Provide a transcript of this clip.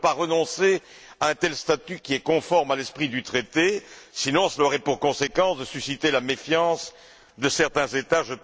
On ne peut pas renoncer à un tel statut qui est conforme à l'esprit du Traité, sinon cela aurait pour conséquence de susciter la méfiance de certains États.